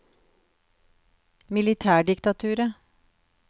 militærdiktaturet